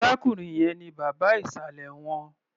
Arákùnrin yẹn ni bàbá ìsàlẹ̀ wọn.